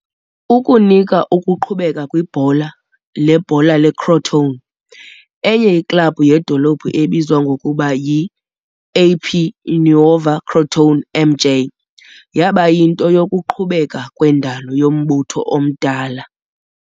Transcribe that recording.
Ukunika ukuqhubeka kwibhola lebhola leCrotone, enye iklabhu yedolophu ebizwa ngokuba yi"-AP Nuova Crotone MJ" yaba yinto yokuqhubeka kwendalo yombutho omdala.